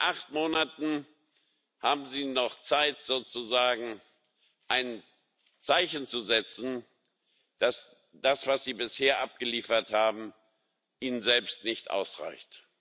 Acht Monate haben Sie noch Zeit, sozusagen ein Zeichen zu setzen, dass das, was Sie bisher abgeliefert haben, Ihnen selbst nicht ausreicht.